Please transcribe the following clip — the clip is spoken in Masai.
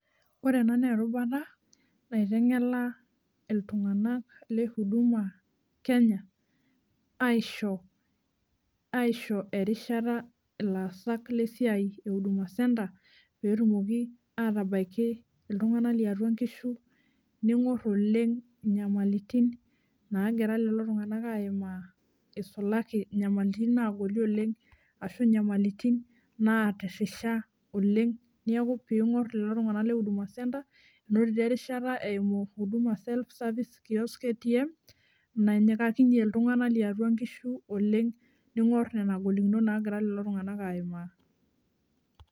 Ore ena naa erubata naitengela iltunganak le huduma kenya aisho, aisho erishata ilaasak lesiai ehuduma centre peetumoki atabaiki iltunganak liatua nkishu , ningor oleng inyamalitin nagira lelo tunganak aimaa isualki inyamalitin nagoli oleng ashu inyamalitin natirisha oleng , niaku pingor oleng lelo tunganak lehuduma centre enotito erishata eimu huduma self services kiosks atm nanyikakinyie iltunganak liatua nkishu oleng , ningor nena golikinot nagira lelo tunganak aimaa.